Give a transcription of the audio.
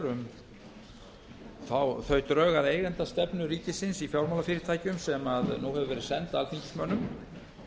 umræðu um þau drög að eigendastefnu ríkisins í fjármálafyrirtækjum sem nú hefur verið send alþingismönnum